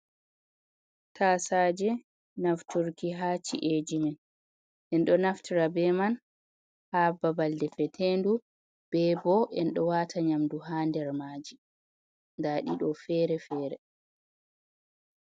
Tasaje nafturki ha ci’eji men, en ɗo naftra be man ha babal defetendu be bo enɗo wata nyamdu ha nder maji, nda ɗiɗo fere-fere.